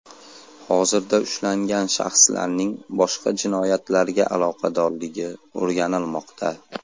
Hozirda ushlangan shaxslarning boshqa jinoyatlarga aloqadorligi o‘rganilmoqda.